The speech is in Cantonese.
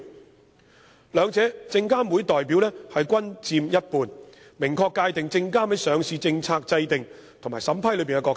在兩者中，證監會的代表均佔一半，明確界定證監會在上市政策制訂及審批中的角色。